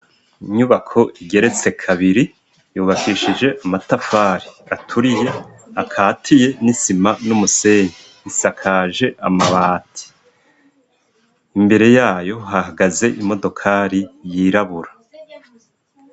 Inyubako igeretse kabiri yubakishije amatafari aturiye akatiye n'isima n'umusenyi isakaje amabati imbere yayo hahagaze imodokari yirabura.